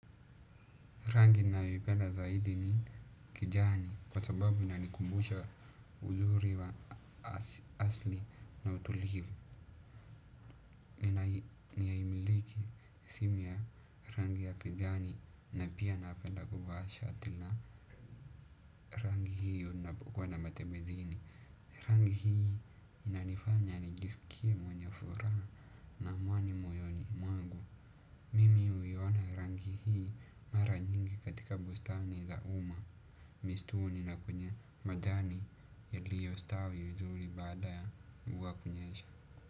Rangi ninayopenda zaidi ni kijani kwa sababu inanikumbusha uzuri wa asili na utulivu. Ninaimiliki rangi ya kijani na pia napenda kuvaa shati na rangi hiyo napokuwa na matembezi. Rangi hii inanifanya nijisikie mwenye furaha na amani moyoni mwangu. Mimi huiona rangi hii mara nyingi katika bustani za umma. Mistuni na kwenye majani yaliyostawi vizuri baada ya mvua kunyesha.